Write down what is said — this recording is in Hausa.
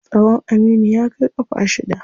Tsawon Aminu ya kai ƙafa shida.